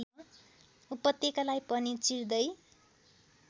उपत्यकालाई पनि चिर्दै